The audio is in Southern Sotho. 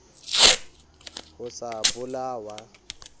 ho sa bola o a